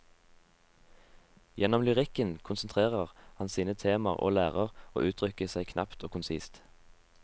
Gjennom lyrikken konsentrerer han sine temaer og lærer å uttrykke seg knapt og konsist.